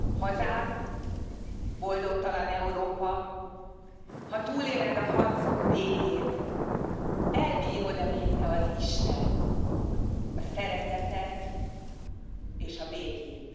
hazám, boldogtalan Európa, ha túléled a harcok végét, elbírod e még te az Istent, a Szeretetet és a Békét?